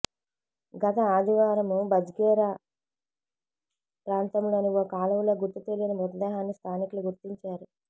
గత ఆదివారం బజ్గేరా ప్రాంతంలోని ఓ కాలువలో గుర్తు తెలియని మృతదేహాన్ని స్థానికులు గుర్తించారు